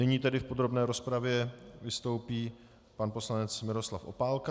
Nyní tedy v podrobné rozpravě vystoupí pan poslanec Miroslav Opálka.